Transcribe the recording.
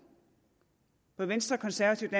venstre konservative